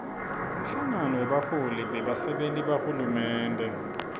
umhlangano webaholi bebasenti bahulumende